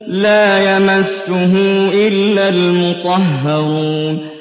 لَّا يَمَسُّهُ إِلَّا الْمُطَهَّرُونَ